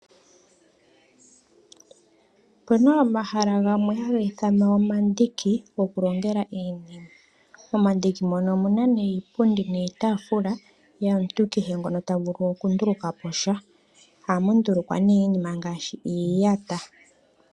Opena omahala gamwe haga ithanwa omandiku goku longela iinima. Omandiki mono omuna nee iipundi niitafula yomuntu kehe ngono ta vulu oku nduluka posha. Ohamu ndulukwa nee iinima ngaashi iiyata.